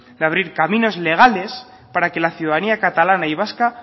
de abrir caminos legales para que la ciudadanía catalana y vasca